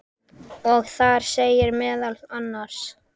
og þar segir meðal annars